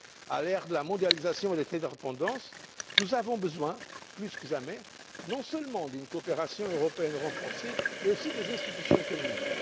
À l'ère de la mondialisation et de l'interdépendance, nous avons besoin, plus que jamais, non seulement d'une coopération européenne renforcée mais aussi des institutions communes.